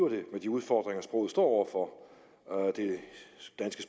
det med de udfordringer sproget står